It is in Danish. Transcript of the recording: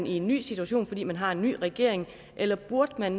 i en ny situation fordi man har en ny regering eller burde man